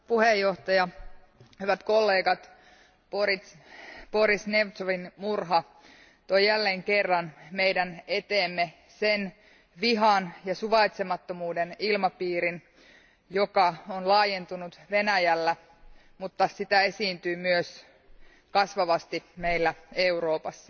Arvoisa puhemies, hyvät kollegat, Boris Nemtsovin murha toi jälleen kerran meidän eteemme sen vihan ja suvaitsemattomuuden ilmapiirin, joka on laajentunut Venäjällä, mutta sitä esiintyy myös kasvavasti meillä Euroopassa.